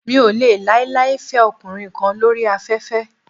Mi ò lè láíláí fẹ ọkùnrin kan lóri afẹ́fẹ́.